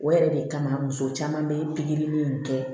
O yɛrɛ de kama muso caman bɛ pikiri in kɛ